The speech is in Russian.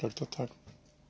как то так